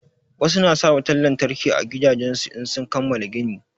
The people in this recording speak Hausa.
Wasu na sa wutan lantarki a gidajen su in sun kamala gini.